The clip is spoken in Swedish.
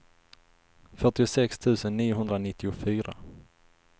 fyrtiosex tusen niohundranittiofyra